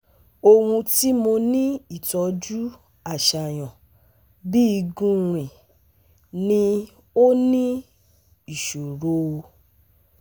ohun ti mo ni itọju aṣayan bi gun rin ni o ni isoro?